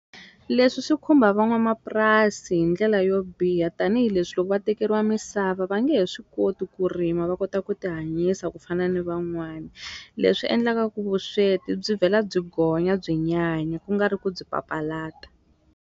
Leswi swi khumba van'wamapurasi hi ndlela yo biha tanihileswi loko va tekeriwa misava va nge he swi koti ku rima va kota ku ti hanyisa ku fana ni van'wani, leswi endlaka ku vusweti byi vhela byi gonya byi nyanya ku nga ri ku byi papalata.